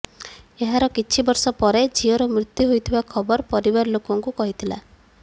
ଏହାର କିଛି ବର୍ଷ ପରେ ଝିଅର ମୃତ୍ୟୁ ହୋଇଥିବା ଖବର ପରିବାର ଲୋକଙ୍କୁ କହିଥିଲା